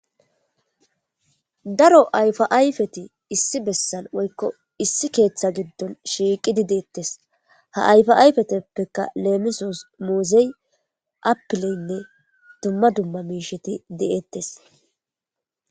Daro ayfaayfeti issi bessan woykko issi keeththa giddon shiiqidi deettes ha ayfa ayfeteppeka leemisos moozey appileynne dumma dumma miisheti de7ettes.